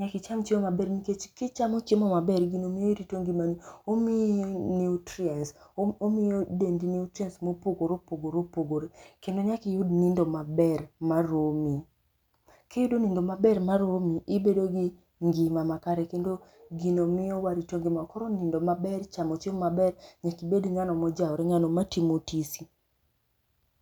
,nikech ki ichamo chiemo ma ber gino miyi irito ngimani, omiyi nutrients omiyo dendi nutrients ma opogore opogore opogore kendo nyaka iyud nindo maber ma romi. Ki iyudo nindo maber ma romi ibedo gi ngima ma kare kendo gino miyo warito ngima wa. Koro nindo maber, chamo chiemo ma ber nyaka ibed ng'ano ma ojaore ng'ano ma timo tizi